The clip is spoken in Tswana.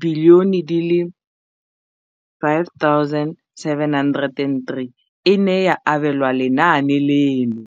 703 bilione e ne ya abelwa lenaane leno.